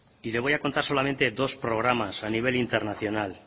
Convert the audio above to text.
y le voy a contar solamente dos programar a nivel internacional